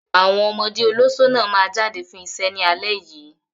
Àwọn ọmọ olóṣó náà máa jáde fún iṣẹ́ ní alẹ́ yìí.